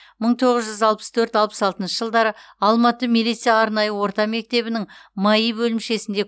мың тоғыз жүз алпыс төрт алпыс алтыншы жылдары алматы милиция арнайы орта мектебінің маи бөлімшесінде